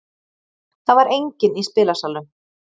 Það var enginn í spilasalnum.